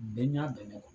Bɛɛ ɲɛ bɛ ne kɔ